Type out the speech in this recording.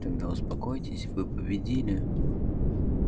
тогда успокоитесь вы победили